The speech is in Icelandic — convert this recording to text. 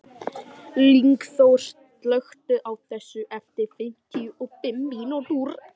Lyngþór, slökktu á þessu eftir fimmtíu og fimm mínútur.